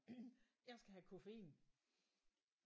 Jeg skal have koffein